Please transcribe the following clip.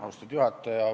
Austatud juhataja!